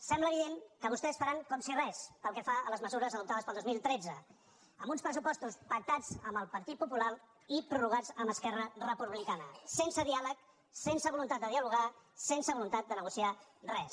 sembla evident que vostès faran com si res pel que fa a les mesures adoptades per al dos mil tretze amb uns pressu·postos pactats amb el partit popular i prorrogats amb esquerra republicana sense diàleg sense voluntat de dialogar sense voluntat de negociar res